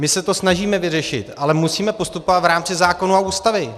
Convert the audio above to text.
My se to snažíme vyřešit, ale musíme postupovat v rámci zákonů a Ústavy.